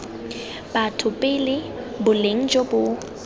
batho pele boleng jo bo